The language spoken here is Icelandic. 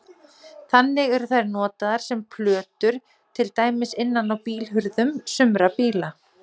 Þannig eru þær notaðar sem plötur til dæmis innan á bílhurðum sumra bíla.